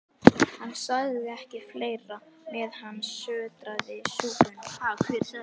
Hann sagði ekki fleira, meðan hann sötraði súpuna.